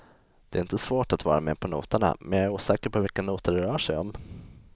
Det är inte svårt att vara med på noterna men jag är osäker på vilka noter det rör sig om.